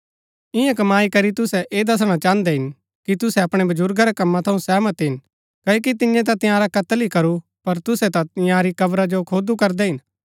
ईयां कमाई करी तुसै ऐह दसणा चाहन्दै हिन कि तुसै अपणै बजुर्गा रै कमां थऊँ सहमत हिन कओकि तियें ता तंयारा कत्‍ल ही करू पर तुसै ता इन्यारी कब्रा खोदू करदै हिन